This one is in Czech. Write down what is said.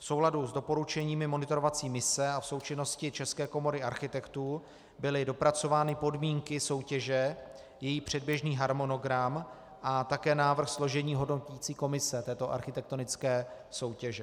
V souladu s doporučeními monitorovací mise a v součinnosti České komory architektů byly dopracovány podmínky soutěže, její předběžný harmonogram a také návrh složení hodnoticí komise této architektonické soutěže.